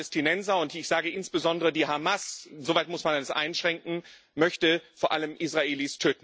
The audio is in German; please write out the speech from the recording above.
Die Palästinenser, und ich sage insbesondere die Hamas soweit muss man das einschränken möchte vor allem Israelis töten.